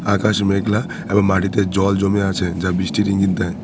আকাশ মেঘলা এবং মাটিতে জল জমে আছে যা বৃষ্টির ইঙ্গিত দেয়।